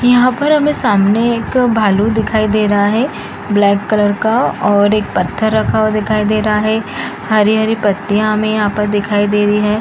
यहाँ पर हमें सामने एक भालू दिखाई दे रहा है ब्लैक कलर का और एक पत्थर रखा हुआ दिखाई दे रहा है हरी-हरी पत्तियां हमें यहाँ पर दिखाई दे रही है।